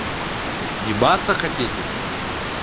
ебаться хотите